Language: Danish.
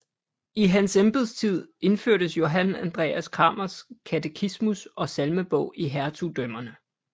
I hans embedstid indførtes Johan Andreas Cramers katekismus og salmebog i hertugdømmerne